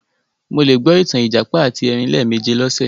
Mo le gbọ ìtàn ìjàpá àti erin lẹ́ẹ̀méje lọ́sẹ̀